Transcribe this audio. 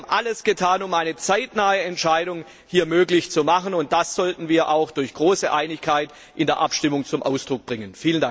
Wir haben alles getan, um eine zeitnahe Entscheidung möglich zu machen, und das sollten wir auch durch große Einigkeit in der Abstimmung zum Ausdruck bringen!